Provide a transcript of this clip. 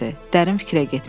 Dərin fikrə getmişdi.